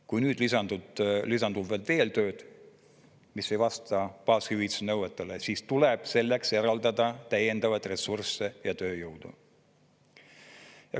Kui nüüd lisandub veel tööd, mis ei vasta baashüvitise nõuetele, siis tuleb selleks eraldada täiendavaid ressursse ja tööjõudu.